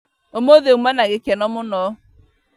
ũmũthĩ auma na gĩkeno mũno